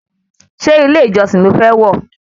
Ṣé ilé ìjọsìn lo fẹ́ wọ̀